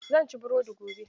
Zan ci burodi gobe.